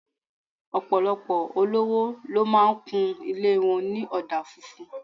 Ọ̀pọ̀lọpọ̀ olówó ló máa ń kun ilé wọn ní ọ̀dà funfun